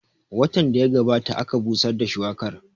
Watan da ya gabata aka busar da shuwakar